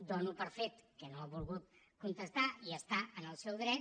dono per fet que no ha volgut contestar i hi està en el seu dret